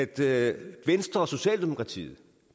det at venstre og socialdemokratiet